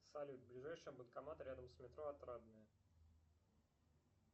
салют ближайший банкомат рядом с метро отрадное